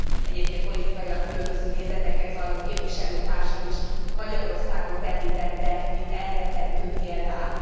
egyébként két politikailag különböző nézeteket valló képviselőtársam is Magyarországot említette, mint elrettentő példát.